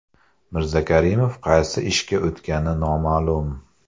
Mirzakarimov qaysi ishga o‘tgani noma’lum.